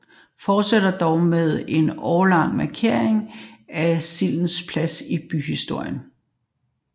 Florøværingerne fortsætter dog med en årlig markering af sildens plads i byhistorien